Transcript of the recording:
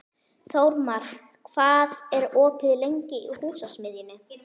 Þórmar, hvað er opið lengi í Húsasmiðjunni?